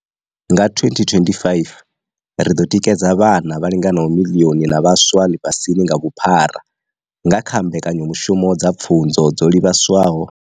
Nga 2025, ri ḓo tikedza vhana vha linganaho miḽioni na vhaswa ḽifhasini nga vhuphara nga kha mbekanyamushumo dza pfunzo dzo livhaswaho.